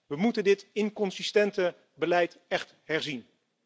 We moeten dit inconsistente beleid echt herzien.